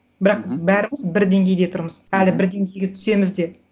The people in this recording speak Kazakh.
бірақ бәріміз бір деңгейде тұрмыз әлі бір деңгейге түсеміз де